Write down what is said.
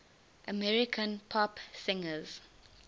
american pop singers